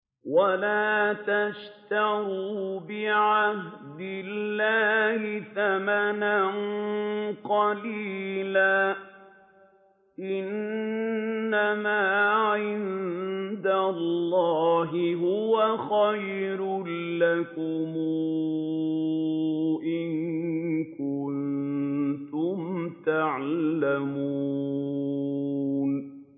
وَلَا تَشْتَرُوا بِعَهْدِ اللَّهِ ثَمَنًا قَلِيلًا ۚ إِنَّمَا عِندَ اللَّهِ هُوَ خَيْرٌ لَّكُمْ إِن كُنتُمْ تَعْلَمُونَ